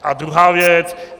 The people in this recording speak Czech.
A druhá věc.